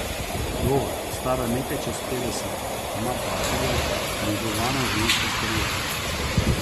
Vdova, stara nekaj čez petdeset, ima partnerja, negovana ženska s kariero.